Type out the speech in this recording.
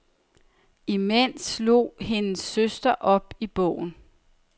Imens slog hendes søster op i bogen.